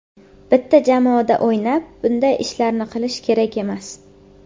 Bitta jamoada o‘ynab bunday ishlarni qilish kerak emas.